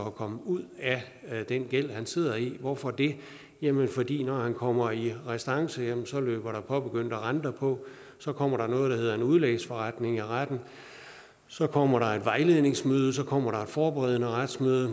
at komme ud af den gæld sidder i hvorfor det jamen fordi når den pågældende kommer i restance løber der påbegyndte renter på så kommer der noget der hedder en udlægsforretning i retten så kommer der et vejledningsmøde så kommer der måske et forberedende retsmøde